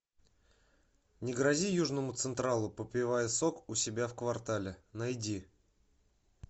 не грози южному централу попивая сок у себя в квартале найди